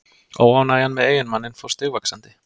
Óánægjan með eiginmanninn fór stigvaxandi.